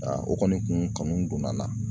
o kɔni kun kanu donna n na.